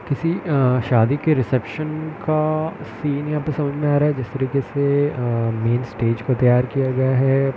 किसी अ शादी के रिसेप्शन का सीन यहाँ पे समझ में आ रहा है जिस तरीके से अ मेन स्टेज को तैयार किया गया है।